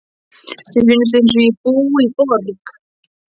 Þá finnst mér eins og ég búi í borg.